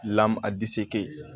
a disike